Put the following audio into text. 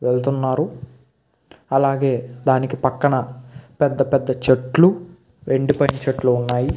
వెళ్తున్నారు. అలాగే దానికి పక్కన పెద్ద పెద్ద చెట్లు. ఎండిపోయిన చెట్లు ఉన్నాయి.